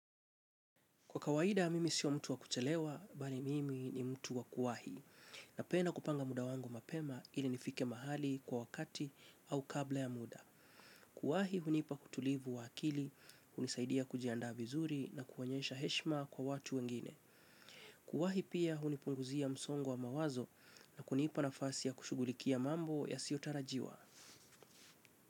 Kwa kawaida, mimi sio mtu wa kuchelewa, bali mimi ni mtu wa kuwahi. Na pena kupanga muda wangu mapema ili nifike mahali kwa wakati au kabla ya muda. Kuwahi, hunipa kutulivu wa akili, hunisaidia kujianda vizuri na kuwanyesha heshma kwa watu wengine. Kuwahi pia, hunipunguzia msongo wa mawazo na kunipa na fasi ya kushugulikia mambo ya siotarajiwa.